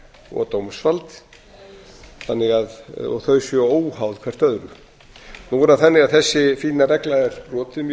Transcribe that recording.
og dómsvald og þau séu óháð hvert öðru nú er það þannig að þessi fína regla er brotin mjög